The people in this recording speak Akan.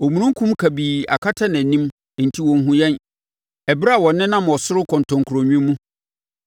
Omununkum kabii akata nʼanim enti ɔnhunu yɛn ɛberɛ a ɔnenam ɔsoro kɔntɔnkurowi mu.’